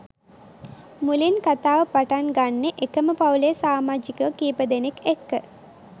මුලින් කතාව පටන් ගන්නෙ එකම පවුලෙ සමාඡිකයො කීප දෙනෙක් එක්ක